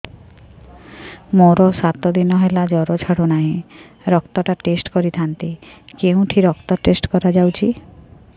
ମୋରୋ ସାତ ଦିନ ହେଲା ଜ୍ଵର ଛାଡୁନାହିଁ ରକ୍ତ ଟା ଟେଷ୍ଟ କରିଥାନ୍ତି କେଉଁଠି ରକ୍ତ ଟେଷ୍ଟ କରା ଯାଉଛି